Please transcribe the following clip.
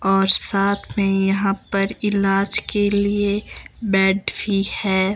और साथ में यहां पर इलाज के लिए बेड भी है।